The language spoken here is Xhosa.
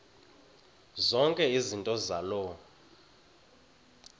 zonke izinto zaloo